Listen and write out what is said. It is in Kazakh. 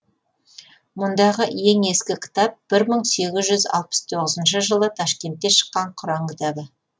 мұндағы ең ескі кітап бір мың сегіз жүз алпыс тоызыншы жылы ташкентте шыққан құран кітабы